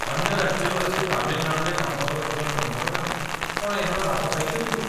ଅନ୍ୟ ରାଜ୍ୟରୁ ଆସି ତାମିଲନାଡ଼ୁରେ କାମ କରୁଥିବା ଶ୍ରମିକମାନେ କ'ଣ ଏହାର ଲାଭ ପାଇପାରିବେ?